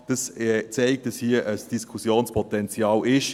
Das zeigt, dass hier ein Diskussionspotenzial besteht.